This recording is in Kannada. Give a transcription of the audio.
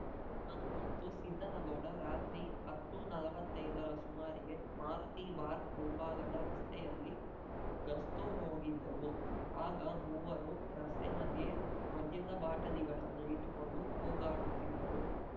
ನಾನು ಮತ್ತು ಸಿದ್ದನಗೌಡ ರಾತ್ರಿ ಹತ್ತುನಲ್ವತ್ತೈದರ ಸುಮಾರಿಗೆ ಮಾರುತಿ ಬಾರ್‌ ಮುಂಭಾಗದ ರಸ್ತೆಯಲ್ಲಿ ಗಸ್ತು ಹೋಗಿದ್ದೇವು ಆಗ ಮೂವರು ರಸ್ತೆ ಮಧ್ಯೆ ಮದ್ಯದ ಬಾಟಲಿಗಳನ್ನು ಇಟ್ಟುಕೊಂಡು ಕೂಗಾಡುತ್ತಿದ್ದರು